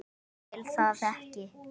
Ég vil það ekki.